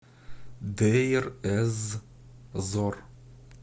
дейр эз зор